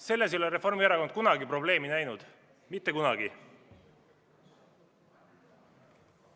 Selles ei ole Reformierakond kunagi probleemi näinud, mitte kunagi.